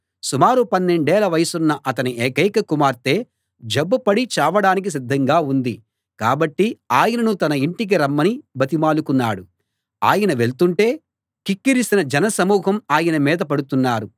సుమారు పన్నెండేళ్ళ వయసున్న అతని ఏకైక కుమార్తె జబ్బుపడి చావడానికి సిద్ధంగా ఉంది కాబట్టి ఆయనను తన ఇంటికి రమ్మని బతిమాలుకున్నాడు ఆయన వెళ్తుంటే కిక్కిరిసిన జన సమూహం ఆయన మీద పడుతున్నారు